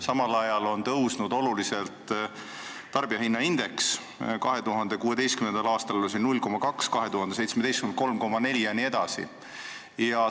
Samal ajal on oluliselt tõusnud tarbijahinna indeks: 2016. aastal oli see 0,2, 2017. aastal 3,4.